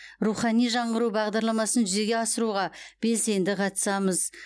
рухани жаңғыру бағдарламасын жүзеге асыруға белсенді қатысамыз